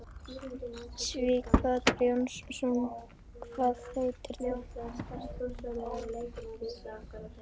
Sighvatur Jónsson: Hvað heitir þú?